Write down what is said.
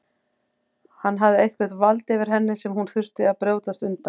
Hann hafði eitthvert vald yfir henni sem hún þurfti að brjótast undan.